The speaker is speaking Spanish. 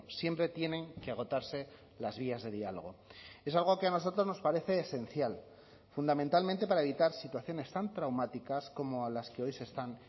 siempre tienen que agotarse las vías de diálogo es algo que a nosotros nos parece esencial fundamentalmente para evitar situaciones tan traumáticas como a las que hoy se están